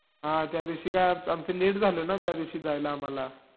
पाणी या विषयाचा गंभीर विचार महत्मा फुले यांनी देशाला दिला.